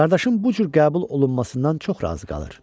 Qardaşım bu cür qəbul olunmasından çox razı qalır.